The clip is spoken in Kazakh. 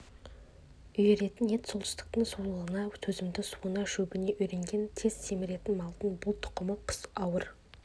үйіретін ет солтүстіктің суығына төзімді суына шөбіне үйренген тез семіретін малдың бұл тұқымы қыс ауыр